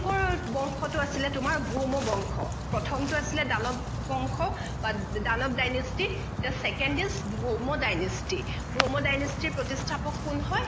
আছিলে তোমাৰ ভৌম বংশ প্ৰথমতো আছিলে দানৱ বংশ বা Danava dynasty the second is Bhauma dynasty Bhauma dynasty ৰ প্ৰতিষ্ঠাপক কোন হয়